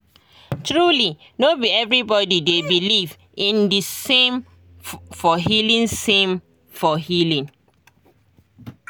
truly no be everybody dey beleive in the same for healing same for healing